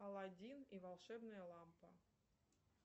алладин и волшебная лампа